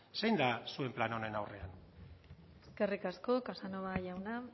zein da zuen plan horren aurrean eskerrik asko casanova jauna